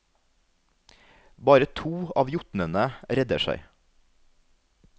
Bare to av jotnene redder seg.